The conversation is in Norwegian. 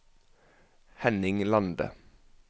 Henning Lande